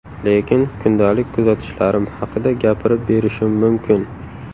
Lekin kundalik kuzatishlarim haqida gapirib berishim mumkin.